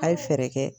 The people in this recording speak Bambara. A' ye fɛɛrɛ kɛ